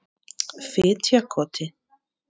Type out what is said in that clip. Fitjakoti